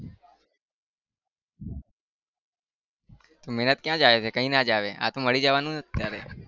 મહેનત ક્યાં જાય છે કઈ ના जावे આતો મળી જવાનું અત્યારે